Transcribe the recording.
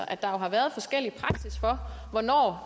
at der jo har været forskellig praksis for hvornår og